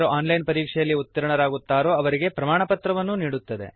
ಯಾರು online ಪರೀಕ್ಷೆಯಲ್ಲಿ ಉತ್ತೀರ್ಣರಾಗುತ್ತಾರೋ ಅವರಿಗೆ ಪ್ರಮಾಣಪತ್ರವನ್ನೂ ನೀಡುತ್ತದೆ